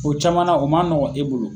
O camanna o man nɔgɔn e bolo.